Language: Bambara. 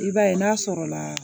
I b'a ye n'a sɔrɔ la